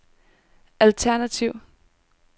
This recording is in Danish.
alternativ